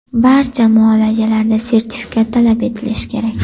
Barcha muolajalarda sertifikat talab etilishi kerak.